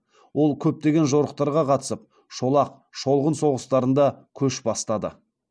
ол көптеген жорықтарға қатысып шолақ шолғын соғыстарында көш бастады